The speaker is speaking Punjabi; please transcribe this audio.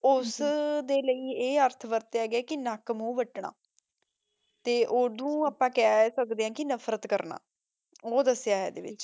ਓਸ ਦੇ ਲਾਈ ਆਯ ਏਆਰਥ ਵਾਰ੍ਤ੍ਯਾ ਗਯਾ ਕੇ ਨਾਕ ਮੂ ਵਤਨਾ ਤੇ ਓਦੋਂ ਆਪਾਂ ਕਹ ਸਕਦੇ ਆਂ ਕੀ ਨਫਰਤ ਕਰਨਾ ਊ ਦਸ੍ਯ ਹੈ ਏਡੇ ਵਿਚ